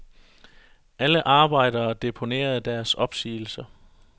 Alle arbejdere deponerede deres opsigelser.